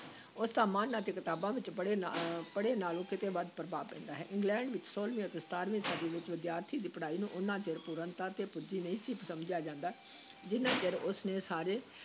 ਉਸ ਦਾ ਮਨ ਅਤੇ ਕਿਤਾਬਾਂ ਵਿੱਚੋਂ ਪੜ੍ਹੇ ਨਾ ਅਹ ਪੜ੍ਹੇ ਨਾਲੋਂ ਕਿਤੇ ਵੱਧ ਪ੍ਰਭਾਵ ਪੈਂਦਾ ਹੈ, ਇੰਗਲੈਂਡ ਵਿੱਚ ਛੋਲਵੀਂ ਅਤੇ ਸਤਾਰਵੀਂ ਸਦੀ ਵਿਚ ਵਿਦਿਆਰਥੀ ਦੀ ਪੜ੍ਹਾਈ ਨੂੰ ਓਨਾ ਚਿਰ ਪੂਰਨਤਾ ‘ਤੇ ਪੁੱਜੀ ਨਹੀਂ ਸੀ ਸਮਝਿਆ ਜਾਂਦਾ ਜਿੰਨਾ ਚਿਰ ਉਸ ਨੇ ਸਾਰੇ